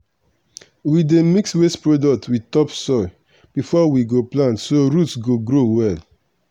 we dey mix waste product with topsoil before we go plant so root go grow well.